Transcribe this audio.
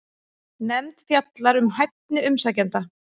Nefnd fjallar um hæfni umsækjenda